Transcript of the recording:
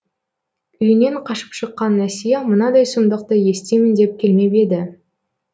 үйінен қашып шыққан әсия мынадай сұмдықты естимін деп келмеп еді